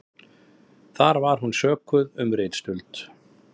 Þar var hún sökuð um ritstuld